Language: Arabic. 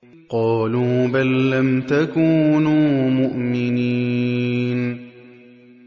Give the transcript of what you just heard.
قَالُوا بَل لَّمْ تَكُونُوا مُؤْمِنِينَ